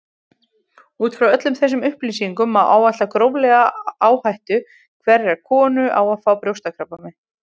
Út frá öllum þessum upplýsingum má áætla gróflega áhættu hverrar konu á að fá brjóstakrabbamein.